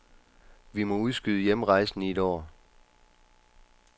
Vi må udskyde hjemrejsen i et år.